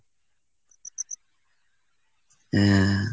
হুম।